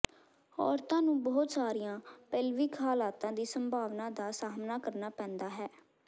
ਔਰਤਾਂ ਨੂੰ ਬਹੁਤ ਸਾਰੀਆਂ ਪੇਲਵਿਕ ਹਾਲਤਾਂ ਦੀ ਸੰਭਾਵਨਾ ਦਾ ਸਾਹਮਣਾ ਕਰਨਾ ਪੈਂਦਾ ਹੈ